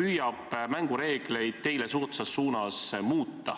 püüab mängureegleid teile soodsas suunas muuta.